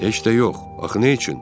Heç də yox, axı nə üçün?